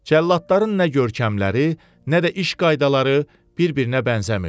Cəlladların nə görkəmləri, nə də iş qaydaları bir-birinə bənzəmirdi.